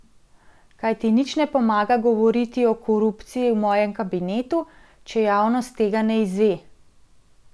Kajti nič ne pomaga govoriti o korupciji v mojem kabinetu, če javnost tega ne izve.